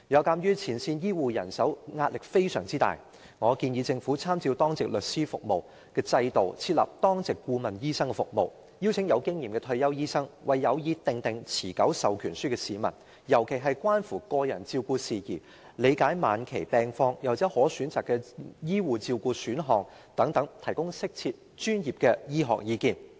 鑒於前線醫護人手壓力非常大，我建議政府參照當值律師服務的制度，設立當值顧問醫生服務，邀請具經驗的退休醫生，為有意訂立持久授權書的市民，尤其在關乎個人照顧、對晚期病況的理解及可選擇的醫護照顧選項等事宜上，提供適切和專業的醫學意見。